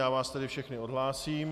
Já vás tedy všechny odhlásím.